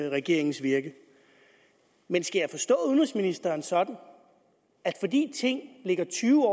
regeringens virke men skal jeg forstå udenrigsministeren sådan at fordi ting ligger tyve